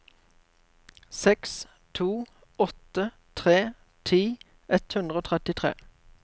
seks to åtte tre ti ett hundre og trettitre